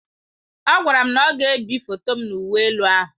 Ọ gwara m na ọ ga-ebi foto m na uwe elu ahụ.